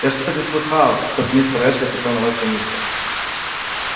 я что-то не слыхала чтоб мистер эшли хотел на вас жениться